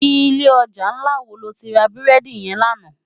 Ilé òjá nlá wó lóti rá búrèdi yèn làná?